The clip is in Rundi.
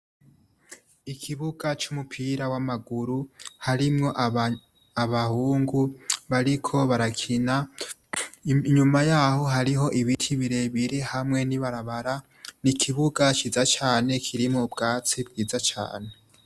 Ikibuga c'umupira w'amaguru harimwo abahungu bariko barakina, inyuma y'aho hariho ibiti birebire hamwe n'ibarabara, ni ikibuga ciza cane kimwo ubwatsi bwiza cane.